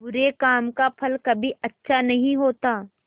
बुरे काम का फल कभी अच्छा नहीं होता